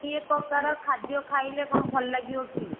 ଦି ପ୍ରକାର ଖାଦ୍ୟ ଖାଇଲେ କଣ ଭଲ ଲାଗିବ କି?